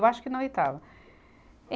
Eu acho que na oitava. Eh